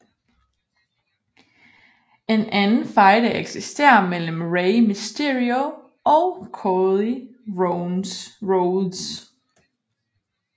En anden fejde eksisterer mellem Rey Mysterio og Cody Rhodes